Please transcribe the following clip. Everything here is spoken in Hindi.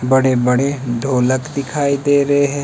बड़े बड़े ढोलक दिखाई दे रहे--